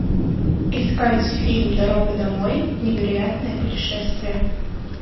искать фильм дорога домой невероятное путешествие